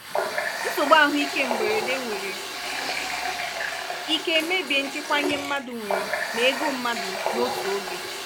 nsogbu ahụike mberede nwere ike mebie nchekwa ihe mmadụ nwere na ego mmadụ n'otu oge.